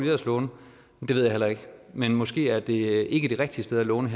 ellers låne det ved jeg heller ikke men måske er det ikke det rigtige sted at låne